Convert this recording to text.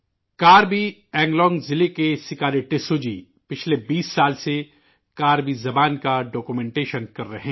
کربی انلونگ ضلع کے 'سکاری ٹسو' جی پچھلے 20 سالوں سے کربی زبان کی دستاویز تیار کر رہے ہیں